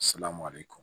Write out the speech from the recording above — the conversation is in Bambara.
Selamɔ de kun